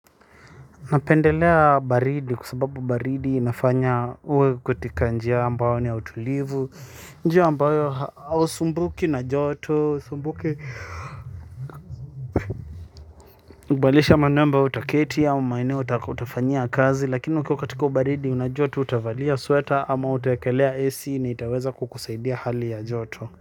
Napendelea baridi kwa sababu baridi inafanya uwe katika njia ambayo ni ya utulivu njia ambayo hau sumbuki na joto sumbuki badilisha manamba au toketi au maeneo utafanyia kazi lakini ukiwa katika ubaridi unajua tu utavalia sweta ama utawekelea AC na itaweza kukusaidia hali ya jotu.